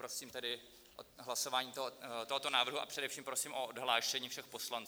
Prosím tedy hlasování tohoto návrhu, a především prosím o odhlášení všech poslanců.